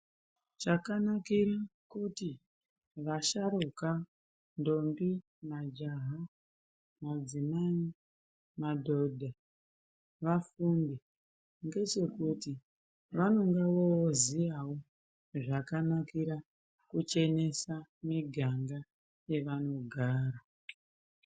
Chakanakire kuti vasharuka, ndombi, majaha, madzimai, madhodha vafunde ngechekuti vanonga voziyawo zvakanakira kuchenesa miganga yevanogara.